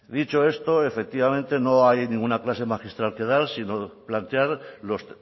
dicho esto efectivamente no hay ninguna clase magistral que dar sino plantear los